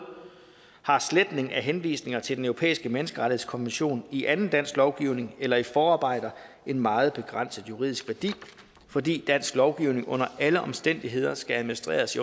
har sletning af henvisninger til den europæiske menneskerettighedskonvention i anden dansk lovgivning eller i forarbejder en meget begrænset juridisk værdi fordi dansk lovgivning under alle omstændigheder skal administreres